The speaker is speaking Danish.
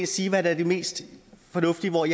sige hvad der er det mest fornuftige og